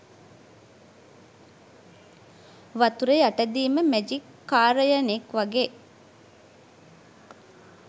වතුර යටදිම මැජික් කාරයනෙක් වගේ